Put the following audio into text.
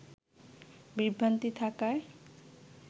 বিভ্রান্তি থাকায়